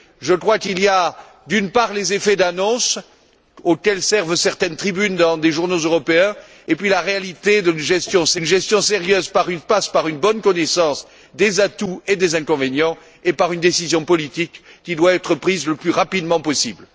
Je crois qu'il y a, d'une part, les effets d'annonce auxquels servent certaines tribunes dans des journaux européens, et puis la réalité d'une gestion sérieuse qui passe par une bonne connaissance des atouts et des inconvénients et par une décision politique qui doit être prise le plus rapidement possible.